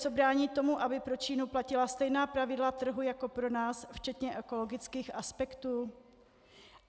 Co brání tomu, aby pro Čínu platila stejná pravidla trhu jako pro nás, včetně ekologických aspektů?